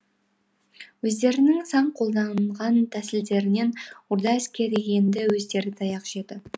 өздерінің сан қолданған тәсілдерінен орда әскері енді өздері таяқ жеді